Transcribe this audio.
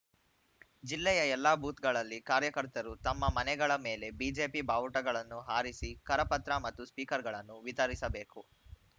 ಜಿಲ್ಲೆಯ ಎಲ್ಲ ಬೂತ್‌ಗಳಲ್ಲಿ ಕಾರ್ಯಕರ್ತರು ತಮ್ಮ ಮನೆಗಳ ಮೇಲೆ ಬಿಜೆಪಿ ಬಾವುಟಗಳನ್ನು ಹಾರಿಸಿ ಕರಪತ್ರ ಮತ್ತು ಸ್ಟಿಕರ್‌ಗಳನ್ನು ವಿತರಿಸಬೇಕು